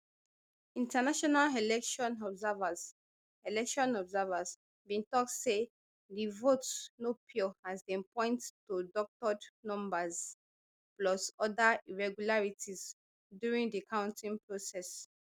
international election observers election observers bin tok say di vote no pure as dem point to doctored numbers plus oda irregularities during di counting process